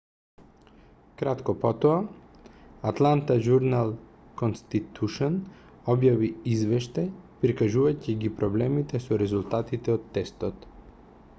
кратко потоа атланта журнал-конститушн објави извештај прикажувајќи ги проблемите со резултатите од тестот